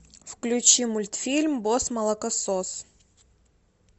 включи мультфильм босс молокосос